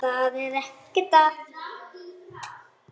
Það er ekkert að.